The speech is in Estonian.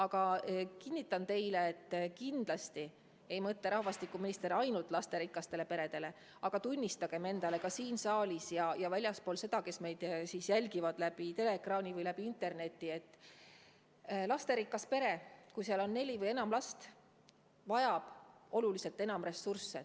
Ma kinnitan teile, et kindlasti ei mõtle rahvastikuminister ainult lasterikastele peredele, aga tunnistagem endale nii siin saalis kui ka väljaspool seda – küllap meid jälgitakse ka teleekraani või interneti abil –, et lasterikas pere, kus on neli või enam last, vajab oluliselt enam ressursse.